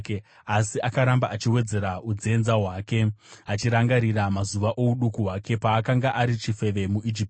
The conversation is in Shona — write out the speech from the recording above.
Asi akaramba achiwedzera unzenza hwake achirangarira mazuva ouduku hwake, paakanga ari chifeve muIjipiti.